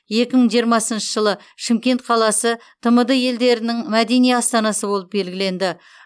екі мың жиырмасыншы жылы шымкент қаласы тмд елдерінің мәдени астанасы болып белгіленді